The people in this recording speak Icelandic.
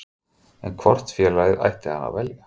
En hvort félagið ætti hann að velja?